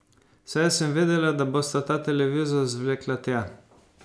Saj sem vedela, da bosta ta televizor zvlekla tja.